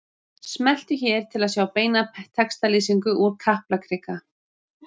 Smelltu hér til að sjá beina textalýsingu úr Kaplakrika